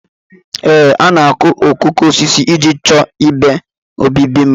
Ee, a na-akụ okooko osisi iji chọọ igbe obibi mma